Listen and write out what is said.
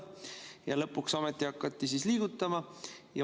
Ja lõpuks ometi hakati liigutama.